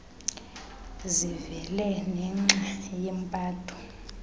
zivele nenxa yempatho